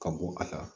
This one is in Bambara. Ka bɔ a la